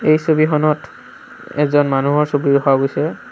এই ছবিখনত এজন মানুহৰ ছবি ৰখা গৈছে।